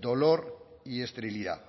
dolor y esterilidad